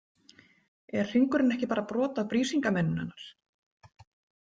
Er hringurinn ekki bara brot af Brísingameninu hennar?